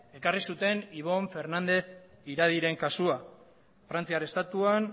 ekarri ibon fernández iradiren kasua frantziar estatuan